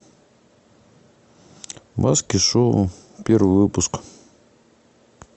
маски шоу первый выпуск